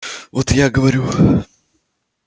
вот я говорю